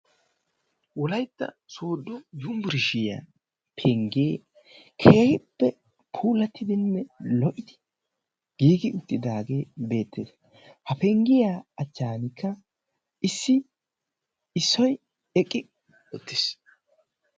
wolaitta soodo yumburishiyaa penggee keehippe puulattidinne lo77idi giigi uttidaagee beettees ha penggiyaa achchaanikka issi issoi eqqi uttiis.